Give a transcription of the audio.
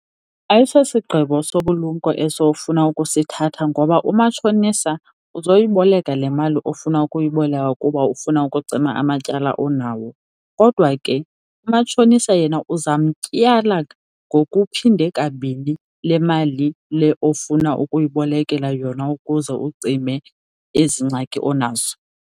Ayisosigqibo sobulumko eso ofuna ukusithatha ngoba umatshonisa azoyiboleka le mali ofuna ukuyiboleka kuba ufuna ukucima amatyala onawo. Kodwa ke umatshonisa yena uzamtyala ngokuphinde kabini lemali le ofuna ukuyibolekela yona ukuze ucime ezi ngxaki onazo.